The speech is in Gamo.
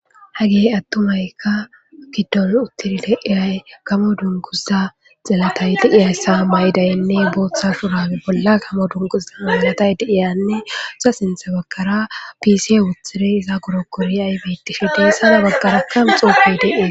hagey attumaykka giddol uttirile eyay kamo dunguza xelatay di7iyayssa may7idaynne booththa surabe bolla kamo dunguza malatay deiyanneusa sintha bagkara pisi wutiri iza gurokkori aybetishi deessana baggara kam xuufey deee